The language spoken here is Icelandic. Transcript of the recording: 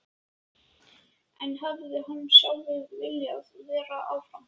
En hefði hann sjálfur viljað vera áfram?